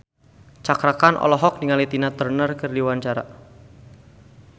Cakra Khan olohok ningali Tina Turner keur diwawancara